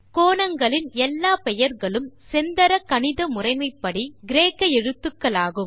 கோணங்களின் எல்லாப் பெயர்களும் செந்தர கணித முறைமைப்படி கிரேக்க எழுத்துக்களாகும்